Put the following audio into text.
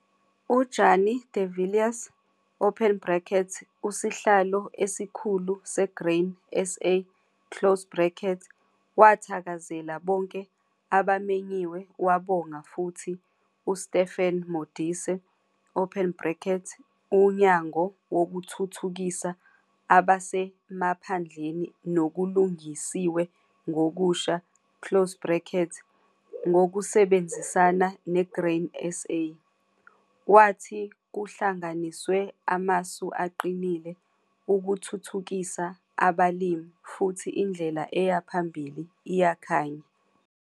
UJannie de Villiers, Usihlalo Esikhulu SeGrain SA, wathakazela bonke abamenyiwe wabonga futhi uStephen Modise, Unyango Wokuthuthukisa Abasemaphandleni Nokulungisiwe Ngokusha, ngokusebenzisana neGrain SA. Wathi kuhlanganiswe amasu aqinile ukuthuthukisa abalimi futhi indlela eya phambili iyakhanya.